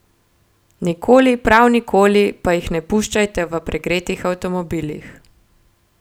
Nikoli, prav nikoli, pa jih ne puščajte v pregretih avtomobilih!